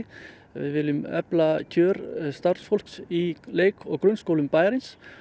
við viljum efla kjör starfsfólks í leik og grunnskólum bæjarins